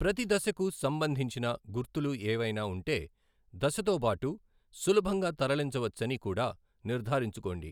ప్రతి దశకు సంబంధించిన గుర్తులు ఏవైనా ఉంటే, దశతో బాటు సులభంగా తరలించవచ్చని కూడా నిర్ధారించుకోండి.